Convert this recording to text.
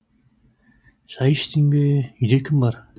шай іштің бе үйде кім бар